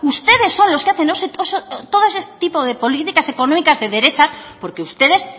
ustedes son los que hacen todo ese tipo de políticas económicas de derechas porque ustedes